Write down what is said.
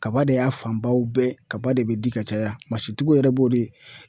Kaba de y'a fanbaw bɛɛ kaba de bɛ di ka caya masitigiw yɛrɛ b'o de